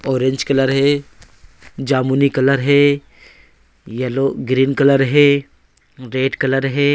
Orange colour है। जमुनी colour है। येलो ग्रीन कलर है। रेड कलर है।